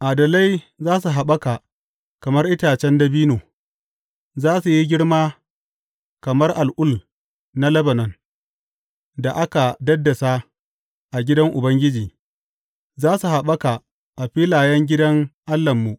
Adalai za su haɓaka kamar itacen dabino, za su yi girma kama al’ul na Lebanon; da aka daddasa a gidan Ubangiji, za su haɓaka a filayen gidan Allahnmu.